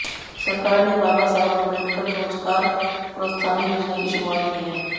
सरकार ने बाबा साहब आंबेडकर रोजगार प्रोत्साहन योजना की शुरुआत की है